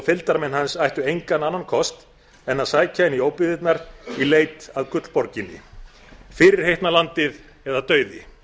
fylgdarmenn hans ættu engan annan kost en að sækja inn í óbyggðirnar í leit að gullborginni fyrirheitna landið eða dauði